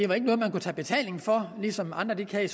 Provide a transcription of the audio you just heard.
var noget man kunne tage betaling for ligesom andre kan kan